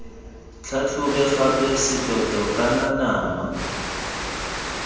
tlhatlhobe gape setoto kana nama